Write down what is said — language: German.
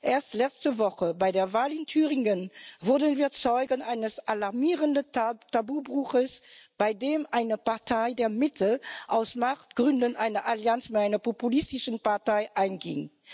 Erst letzte Woche bei der Wahl in Thüringen wurden wir Zeugen eines alarmierenden Tabubruchs, bei dem eine Partei der Mitte aus Machtgründen eine Allianz mit einer populistischen Partei einging.